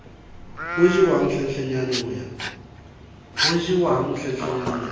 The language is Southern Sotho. ho jewang hlenhlenyane ho ya